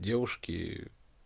девушки